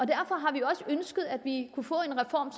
derfor har vi også ønsket at vi kunne få en reform